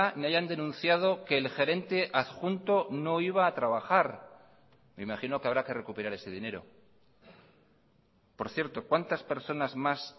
ni hayan denunciado que el gerente adjunto no iba a trabajar me imagino que habrá que recuperar ese dinero por cierto cuántas personas más